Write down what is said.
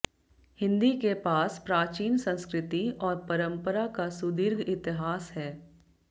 हिन्दी के पास प्राचीन संस्कृति और परम्परा का सुदीर्घ इतिहास है